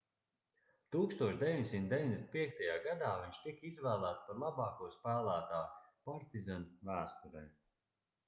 1995. gadā viņš tika izvēlēts par labāko spēlētāju partizan vēsturē